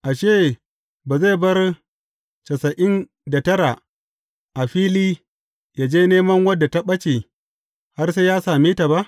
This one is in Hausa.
Ashe, ba zai bar tasa’in da tara a fili ya je neman wadda ta ɓace, har sai ya same ta ba?